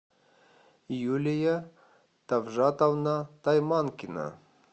юлия тавжатовна тайманкина